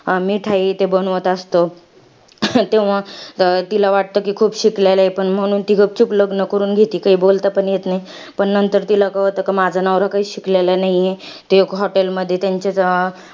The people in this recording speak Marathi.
मिठाई ते बनवत असतो. तेव्हा तिला वाटतं, कि खूप शिकलेला आहे. पण म्हणून ती गपचूप लग्न करून घेती. काही बोलता पण येत नाही. पण नंतर तिला कळतं, कि माझा नवरा काहीच शिकेलेला नाहीये. ते लोक hotel मध्ये त्यांच्या अं